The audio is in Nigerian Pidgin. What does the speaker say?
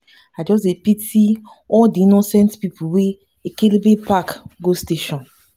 i just dey pity all di innocent pipu wey ekelebe pack go station.